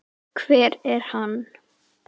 Hver er hann?